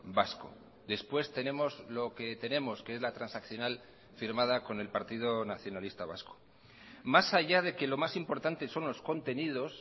vasco después tenemos lo que tenemos que es la transaccional firmada con el partido nacionalista vasco más allá de que lo más importante son los contenidos